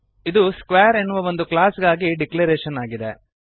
ಇದು ಸ್ಕ್ವೇರ್ ಎನ್ನುವ ಒಂದು ಕ್ಲಾಸ್ ಗಾಗಿ ಡಿಕ್ಲರೇಶನ್ ಆಗಿದೆ